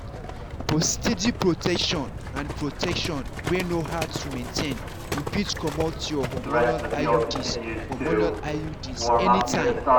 for steady protection and protection wey no hard to maintain you fit comot your hormonal iuds hormonal iuds anytime.